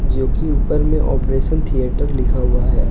क्योंकि ऊपर में ऑपरेशन थिएटर लिखा हुआ है।